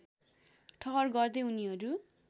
ठहर गर्दै उनीहरू